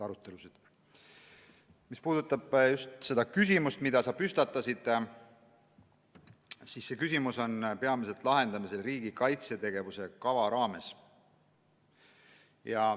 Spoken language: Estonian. Mis puudutab seda teemat, mille sa tõstatasid, siis see küsimus on peamiselt lahendamisel riigikaitse tegevuskava raames.